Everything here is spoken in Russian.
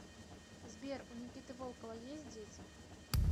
сбер у никиты волкова есть дети